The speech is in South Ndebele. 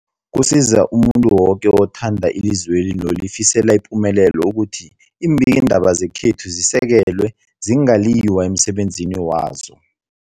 Kusiza umuntu woke othanda ilizweli nolifisela ipumelelo ukuthi iimbikiindaba zekhethu zisekelwe, zingaliywa emsebenzini wazo.